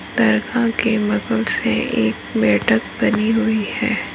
बनी हुई हैं ।